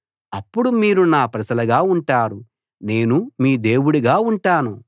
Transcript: అప్పుడు మీరు నా ప్రజలుగా ఉంటారు నేను మీ దేవుడుగా ఉంటాను